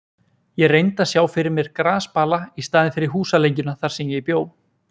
Ég reyndi að sjá fyrir mér grasbala í staðinn fyrir húsalengjuna þar sem ég bjó.